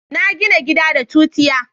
na gina gida da tutiya